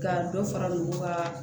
Ka dɔ fara olu ka